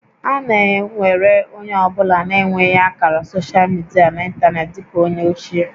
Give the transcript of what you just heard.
A na ewere onye ọ bụla na-enweghị ákàrà soshal midia na ịntanetị dị ka ónyé ochie